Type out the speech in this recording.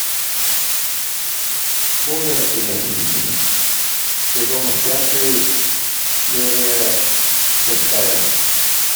сумерки сезон пятый серия шестая